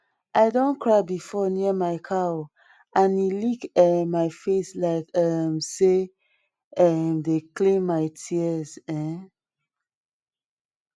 i don cry before near my cow and e lick um my face like um say em dey clean my tears um